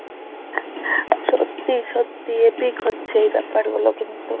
সত্যি সত্যি epic হচ্ছে এই ব্যাপার গুলো কিন্তু